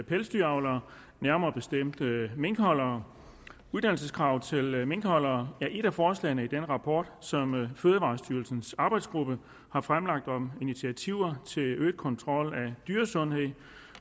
pelsdyravlere nærmere bestemt minkholdere uddannelseskravet til minkholdere er et af forslagene i den rapport som fødevarestyrelsens arbejdsgruppe har fremlagt om initiativer til øget kontrol af dyresundhed